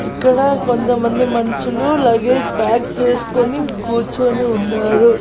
ఇక్కడ కొంతమంది మన్షులు లగేజ్ ప్యాక్ చేస్కొని కూర్చొని ఉన్నారు.